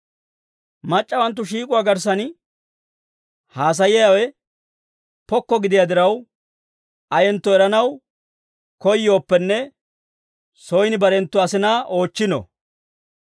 Mac'c'awanttu shiik'uwaa garssan haasaayiyaawe pokko gidiyaa diraw, ayentto eranaw koyyooppenne soyin barenttu asinaa oochchino.